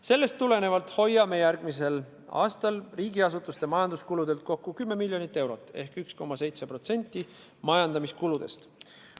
Sellest tulenevalt hoiame järgmisel aastal riigiasutuste majanduskulude pealt kokku 10 miljonit eurot ehk 1,7% majandamiskuludest.